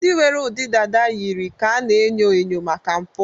ndị nwere ụdị dada yiri ka a na-enyo enyo maka mpụ